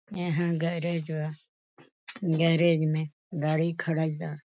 एहाँ गैरेज बा गैरेज में गाड़ी खड़ा बा।